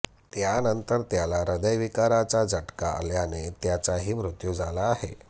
त्यानंतर त्याला हृदयविकाराचा झटका आल्याने त्याचाही मृत्यू झाला आहे